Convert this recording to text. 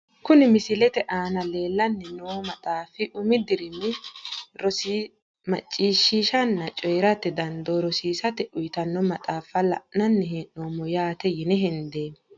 Kuni misilete aana leelani noo maxaafi umi dirimi rosi macishshanna coyi`rate dandoo rosiisa yitano maxaaffa la`nani hee`noomo yaate yine hendeemo.